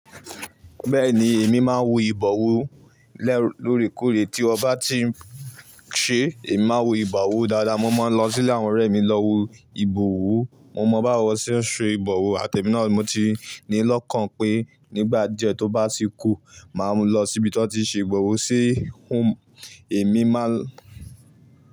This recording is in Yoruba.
Bẹ́ẹ̀ni èmi máa ń wo ìbọ̀wọ́ lẹ́ lóòrèkóòrè tí ọba ti ń ṣe èmi máa ń wo ìbọ̀wọ́ dáadáa. Mo máa ń lọ sílẹ̀ àwọn ọ̀rẹ́ mi lọ wo ìbọ̀wọ́. Mo mọ báwo ṣe ń ṣe ìbọ̀wọ́ àtẹ náà mo ti ni lọ́kàn pé nígbà díẹ̀ tó bá ti kú, màá lọ síbi tí wọ́n ti ń ṣe ìbọ̀wọ̀ sí, èmi máa.